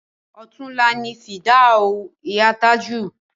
Ọ̀túnla ni fìdáù ìyá Tájù